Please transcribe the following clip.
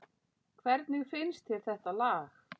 Hvernig finnst þér þetta lag?